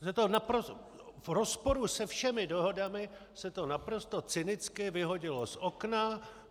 V rozporu se všemi dohodami se to naprosto cynicky vyhodilo z okna.